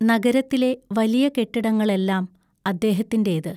നഗരത്തിലെ വലിയ കെട്ടിടങ്ങളെല്ലാം അദ്ദേഹത്തിന്റേത്.